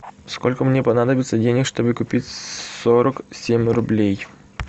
сколько мне понадобится денег чтобы купить сорок семь рублей